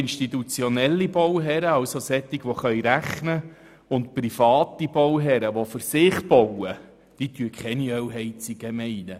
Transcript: Institutionelle Bauherren, also solche, die rechnen können, und private Bauherren, die für sich bauen, entscheiden sich nicht für eine Ölheizung.